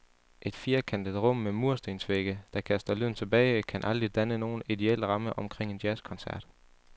Et firkantet rum med murstensvægge, der kaster lyden tilbage, kan aldrig danne nogen ideel ramme omkring en jazzkoncert.